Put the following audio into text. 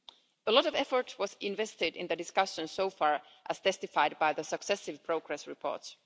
A lot of effort was invested in the discussions so far, as testified by the successive progress reports.